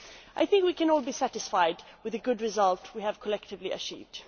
I think we can all be satisfied with the good result we have collectively achieved.